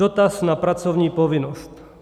Dotaz na pracovní povinnost.